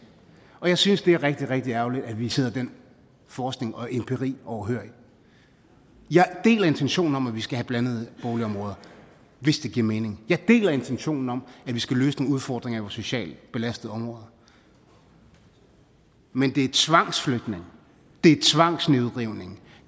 og jeg synes at det er rigtig rigtig ærgerligt at vi sidder den forskning og empiri overhørig jeg deler intentionen om at vi skal have blandede boligområder hvis det giver mening jeg deler intentionen om at vi skal løse nogle udfordringer socialt belastede områder men det er tvangsflytning det er tvangsnedrivning